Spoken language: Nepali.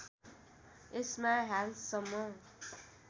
यसमा हालसम्म